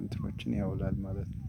እንትኖችን ያውላል ማለት ነው